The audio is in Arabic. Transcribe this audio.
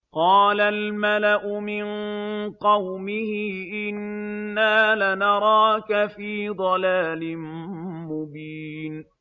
قَالَ الْمَلَأُ مِن قَوْمِهِ إِنَّا لَنَرَاكَ فِي ضَلَالٍ مُّبِينٍ